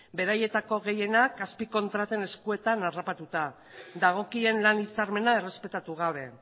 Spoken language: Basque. beraietako gehienak azpikontraten eskuetan harrapatuta dagokien lan hitzarmena errespetatu gabe